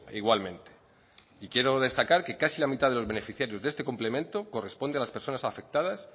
igualmente y quiero destacar que casi la mitad de los beneficiarios de este complemento corresponde a las personas afectadas